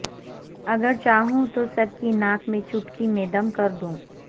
اگر چاہوں تو سب کی ناک میں چٹکی میں دم کردوں